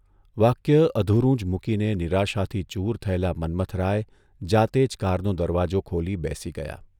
વાક્ય અધુરું જ મૂકીને નિરાશાથી ચૂર થયેલા મન્મથરાય જાતે જ કારનો દરવાજો ખોલી બેસી ગયા.